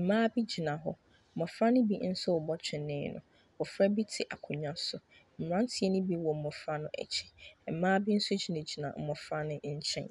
Mmaa bi gyina hɔ. Mmɔfra no binso rebɔ twenee no. Mmɔfra bi akonwa so. Mmranteɛ no bi wɔ mmofra no akyi. Mmaa bi nso gyinagyina mmofra no nkyɛn.